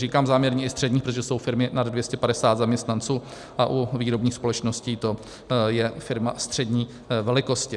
Říkám záměrně i středních, protože jsou firmy nad 250 zaměstnanců a u výrobních společností to je firma střední velikosti.